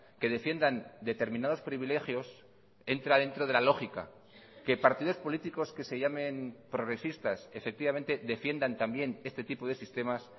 que defiendan determinados privilegios entra dentro de la lógica que partidos políticos que se llamen progresistas efectivamente defiendan también este tipo de sistemas